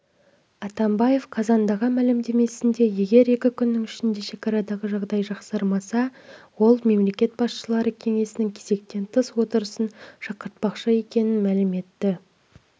атамбаев қазандағы мәлімдемесінде егер екі күннің ішінде шекарадағы жағдай жақсармаса ол мемлекет басшылары кеңесінің кезектен тыс отырысын шақыртпақшы екенін мәлім етті